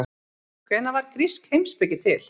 Hvenær varð grísk heimspeki til?